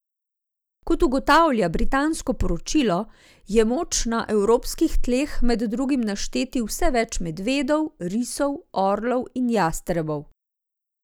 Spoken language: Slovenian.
Kot ugotavlja britansko poročilo, je moč na evropskih tleh med drugim našteti vse več medvedov, risov, orlov in jastrebov.